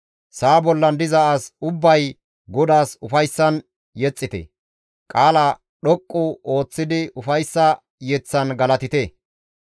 Sa7a bollan diza as ubbay GODAAS ufayssan yexxite; qaala dhoqqu ooththidi ufayssa yeththan galatite.